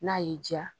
N'a y'i diya